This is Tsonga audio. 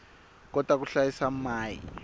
kota ku hlayisa mai